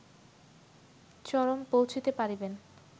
চরম পৌঁছিতে পারিবেন